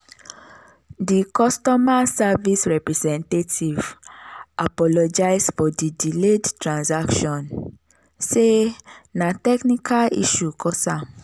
di customer service representative apologize for di delayed transaction say na technical issue cause am.